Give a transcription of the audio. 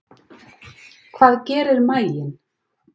Hvað gerir maginn?